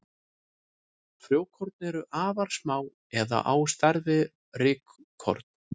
Frjókorn eru afar smá eða á stærð við rykkorn.